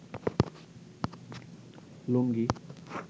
লুঙ্গি